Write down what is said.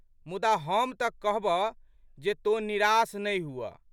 मुदा, हम तऽ कहबह जे तोँ निरास नहि हुअऽ।